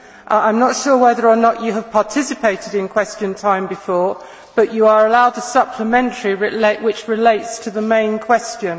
I am not sure whether or not you have participated in Question Time before, but you are allowed a supplementary question that relates to the main question.